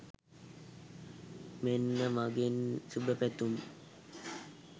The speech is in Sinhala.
මෙන්න මගෙන් සුභපැතුම්